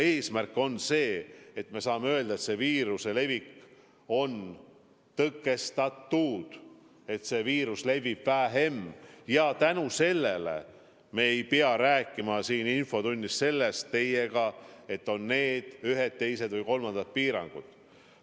Eesmärk on ikka see, et me saame öelda, et viiruse levik on tõkestatud, et viirus levib vähem ja tänu sellele me ei pea rääkima siin infotunnis teiega ühtedest, teistest või kolmandatest piirangutest.